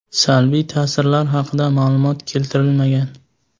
Salbiy ta’sirlar haqida ma’lumot keltirilmagan.